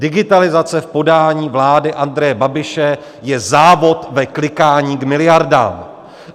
Digitalizace v podání vlády Andreje Babiše je závod v klikání k miliardám.